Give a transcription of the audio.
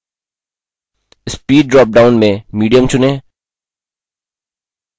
speed dropdown में medium चुनें